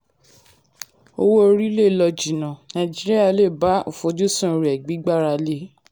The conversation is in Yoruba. owó orí lè lọ jìnnà: nàìjíríà lè bá àfojúsùn rẹ̀ gbígbára lé e.